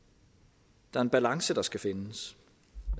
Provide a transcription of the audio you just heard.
der er en balance der skal findes